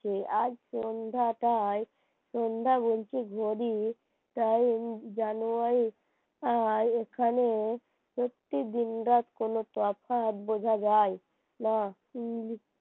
আজ সন্ধ্যাটাই সন্ধ্যা বলছি ঘড়ির time জানুয়ারি আর এখানে সত্যি দিন রাত কোন তফাৎ বোঝা যায় না